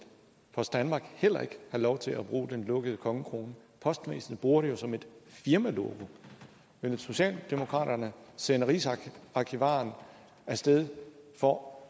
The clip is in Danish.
post danmark heller ikke have lov til at bruge den lukkede kongekrone postvæsenet bruger det jo som et firmalogo vil socialdemokraterne sende rigsarkivaren af sted for